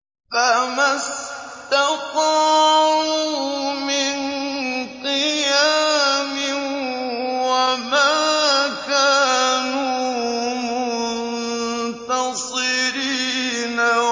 فَمَا اسْتَطَاعُوا مِن قِيَامٍ وَمَا كَانُوا مُنتَصِرِينَ